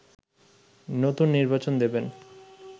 নতুন নির্বাচন দেবেন